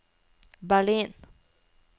Berlin